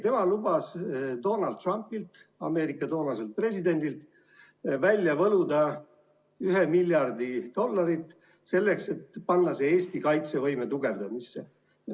Tema lubas Donald Trumpilt, Ameerika toonaselt presidendilt, välja võluda 1 miljard dollarit, et panna see Eesti kaitsevõime tugevdamisse.